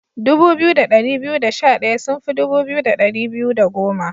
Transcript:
Dubu biyu da dari biyu da sha daya sun fi dubu biyu da dari biyu da goma.